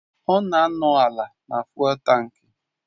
Ọ na-anọdụ ala na fụ́élú tankị